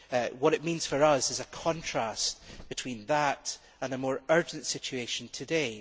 What it means for us is a contrast between that and a more urgent situation today.